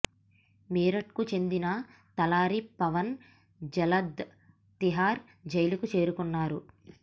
మీరట్కు చెందిన తలారి పవన్ జల్లాద్ తీహార్ జైలుకు చేరుకున్నారు